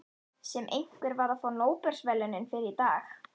Sem einhver var að fá Nóbelsverðlaunin fyrir um daginn.